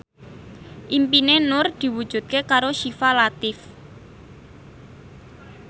impine Nur diwujudke karo Syifa Latief